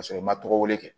K'a sɔrɔ i ma tɔgɔ wele